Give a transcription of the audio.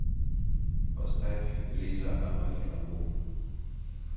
поставь лиза анохина бум